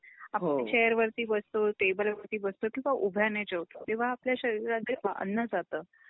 आपण चेयर वरती बसतो, टेबल वरती बसतो किंवा उभ्याने जेवतो तेव्हा आपल्या शरीरात जे अन्न जात